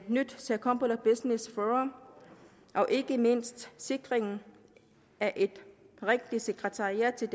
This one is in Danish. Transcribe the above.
nyt circumpolar business forum og ikke mindst sikringen af et rigtigt sekretariat til